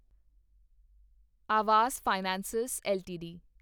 Awas financiers LTD